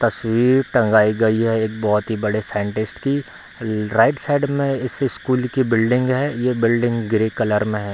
तस्वीर टँगाई गई है एक बहुत ही बड़े साइंटिस्ट की राइट साइड में इस स्कूल की बिल्डिंग है ये बिल्डिंग ग्रे कलर में है।